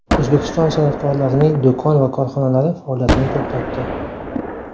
O‘zbekiston san’atkorlarining do‘kon va korxonalari faoliyatini to‘xtatdi.